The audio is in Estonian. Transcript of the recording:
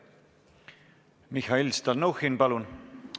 Mihhail Stalnuhhin, palun!